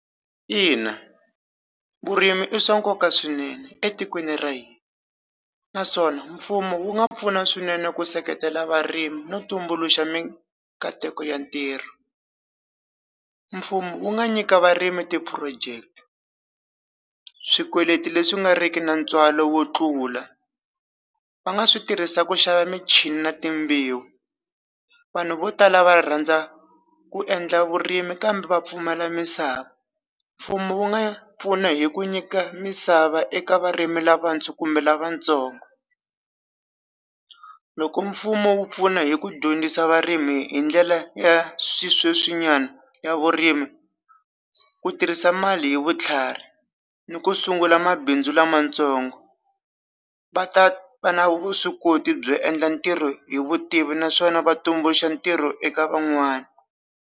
Ina vurimi i swa nkoka swinene etikweni ra hina naswona mfumo wu nga pfuna swinene ku seketela varimi no tumbuluxa minkateko ya ntirho mfumo wu nga nyika varimi ti project swikweleti leswi nga riki na ntswalo wo tlula va nga swi tirhisa ku xava michini na timbewu vanhu vo tala va rhandza ku endla vurimi kambe va pfumala misava mfumo wu nga pfuna hi ku nyika misava eka varimi lava ndzi kumbe lavatsongo loko mfumo wu pfuna hi ku dyondzisa varimi hi ndlela ya swi sweswi nyana ya vurimi ku tirhisa mali hi vutlhari ni ku sungula mabindzu lamatsongo va ta va na vuswikoti byo endla ntirho hi vutivi naswona va tumbuluxa ntirho eka van'wana.